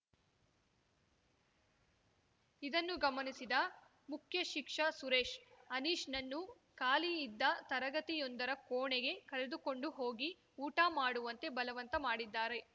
ಇದನ್ನು ಗಮನಿಸಿದ ಮುಖ್ಯಶಿಕ್ಷ ಸುರೇಶ್‌ ಅನೀಶ್‌ನನ್ನು ಖಾಲಿಯಿದ್ದ ತರಗತಿಯೊಂದರ ಕೋಣೆಗೆ ಕರೆದುಕೊಂಡು ಹೋಗಿ ಊಟ ಮಾಡುವಂತೆ ಬಲವಂತ ಮಾಡಿದ್ದಾರೆ